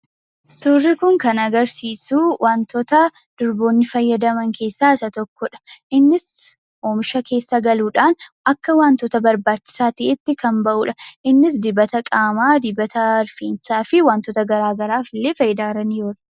Suurri kun kan agarsiisu wantoota durboonni fayyadaman keessaa isa tokkodha. Innis oomisha keessa galuudhaan akka wantoota barbaachisaa ta'eetti kan bahudha. Innis dibata qaamaa , dibata rifeensaa fi wantoota garaagaraaf illee fayidaarra ni oola.